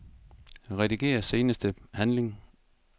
Rediger seneste handling.